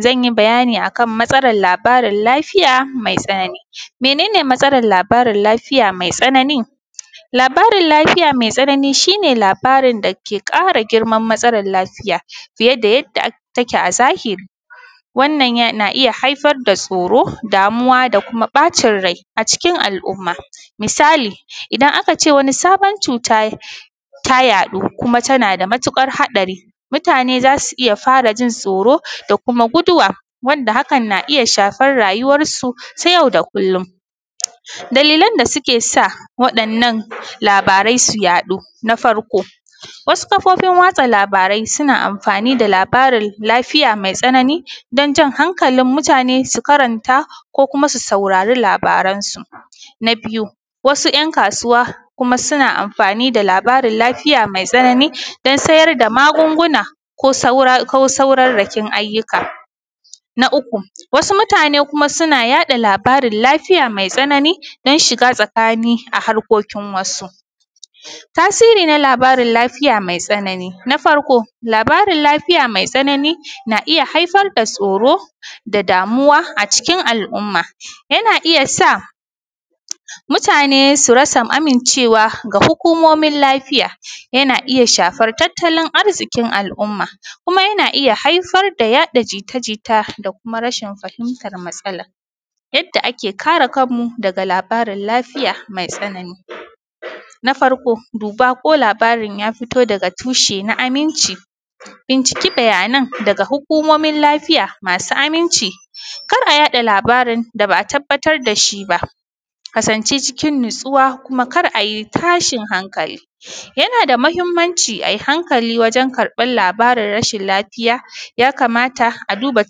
Zanyi bayani akan matsalan labarin lafiya mai tsanani. Mene ne matsalan labarin lafiya mai tsanani? Labarin matsalan lafiya mai tsanani shine labarin, dake ƙara girman matsalan lafiya fiye da yadda take a zahiri. Wannan yana haifarda tsoro, damuwa da kuma da kuma ɓacin rai a cikin al’umma. Misali idan a kace wani sabon cuta, ta yaɗu kuma tanada matuƙar haɗari mutane zasu iyya farajin tsoro da kuma guduwa wanda hakan na iyya shafar rayuwan su ta yau da kullum. Dalilan da sukesa wa ‘yan’ nan labaran su yaɗu na farko wasu kafofin watsa labarai suna amfani da labarin lafiya mai tsanani danjan hankalin mutane su karanta ko kuma su saurari labaran su. Na biyu wasu ‘yan’ kasuwa suna amfani da labarin lafiya mai tsanani dan sayar da magunguna ko saurarrakin ayyuka. Na uku wasu mutane kuma suna yaɗa labarin lafiya mai tsanani dan shiga tsakani a harkokin wasu. Tasiri na labarin lafiya mai tsanani na farko labarin lafiya mai tsanani na iyya haifarda tsoro da damuwa a cikin al’umma yana iyya sa mutane su rasa amincewa da hukumomin lafiya, yana iyya shafar tattalin arzikin al’umma, kuma yana iyya haifar da yaɗa jijita da kuma rashin fahimtan matsalan. Yadda ake kare kanmu daga labarin lafiya mai tsanani na farko ko labarin yafito daga tushe na aminci binciki labaran daga hukumomin lafiya masu aminci kar’a yaɗa labaran da ba’a tabbatar da shiba. Kasance cikin natsuwa kuma kar’ayi tashin hankali, yanada mahimmanci ai hanakali wajen karɓan labarin rashin lafiya. yamata a duba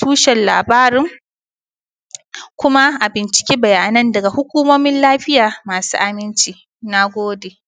tushen labarin kuma a binciki bayanan daga hukumomin lafiya masu inganci. Nagode